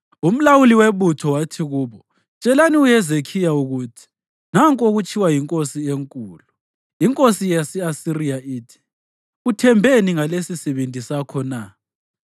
Umlawuli webutho wathi kubo, “Tshelani uHezekhiya ukuthi, ‘Nanku okutshiwo yinkosi enkulu, inkosi yase-Asiriya ithi: Uthembeni ngalesisibindi sakho na?